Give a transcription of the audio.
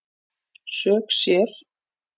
Sök sér